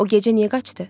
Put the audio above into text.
O gecə niyə qaçdı?